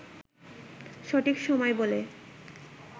সঠিক সময় বলে